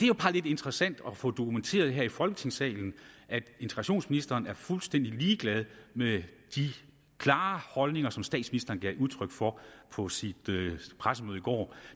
jo bare lidt interessant at få dokumenteret her i folketingssalen at integrationsministeren er fuldstændig ligeglad med de klare holdninger som statsministeren gav udtryk for på sit pressemøde i går